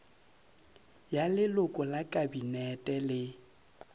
ya leloko la kabinete le